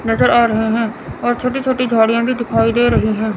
नजर आ रहे हैं और छोटी छोटी झाड़ियां भी दिखाई दे रही हैं।